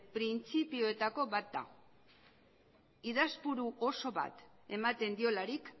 printzipioetako bat da idazpuru oso bat ematen diolarik